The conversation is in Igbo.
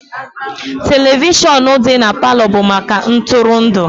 Televishọnụ dị na Palọ bụ maka ntụrụndụ